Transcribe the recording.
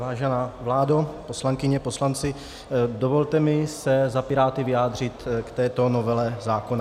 Vážená vládo, poslankyně, poslanci, dovolte mi se za Piráty vyjádřit k této novele zákona.